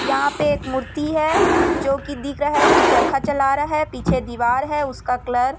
यहाँ पे एक मूर्ति है जो की दिख रहा है की चरखा चला रहे है पीछे दीवार है उसका कलर --